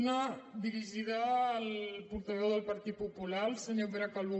una dirigida al portaveu del partit popular el senyor pere calbó